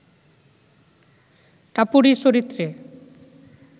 টাপুরী চরিত্রে